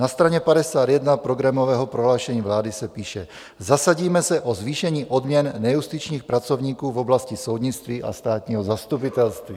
Na straně 51 programového prohlášení vlády se píše: "Zasadíme se o zvýšení odměn nejustičních pracovníků v oblasti soudnictví a státního zastupitelství."